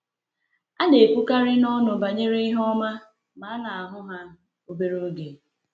A na-ekwukarị n’ọnụ banyere ihe ọma, ma a na-ahụ ha obere oge.